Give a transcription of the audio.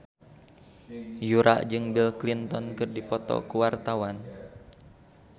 Yura jeung Bill Clinton keur dipoto ku wartawan